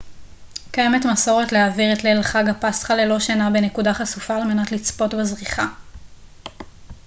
קיימת מסורת להעביר את ליל חג הפסחא ללא שינה בנקודה חשופה על מנת לצפות בזריחה